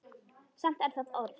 Samt er það orð.